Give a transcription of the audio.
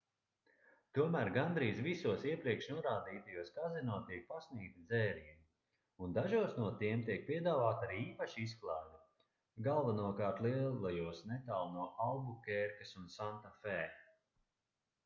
tomēr gandrīz visos iepriekš norādītajos kazino tiek pasniegti dzērieni un dažos no tiem tiek piedāvāta arī īpaša izklaide galvenokārt lielajos netālu no albukērkas un santafē